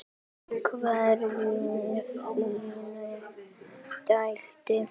Einhver í þinni deild?